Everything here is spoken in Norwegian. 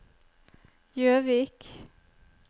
Jøvik